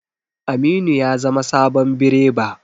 Aminu ya zama sabon bireba.